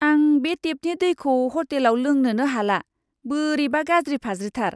आं बे टेपनि दैखौ ह'टेलाव लोंनोनो हाला, बोरैबा गाज्रि फाज्रिथार!